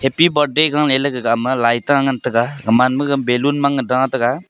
happy birthday galey gaga ama lai ta ngan taiga aman maga balloon mang da taiga.